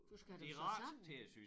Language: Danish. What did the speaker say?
Du skal have dem syet sammen